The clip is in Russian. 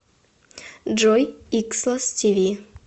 джой икслос ти ви